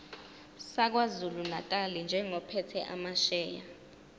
sakwazulunatali njengophethe amasheya